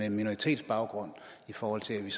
en minoritetsbaggrund i forhold til at vi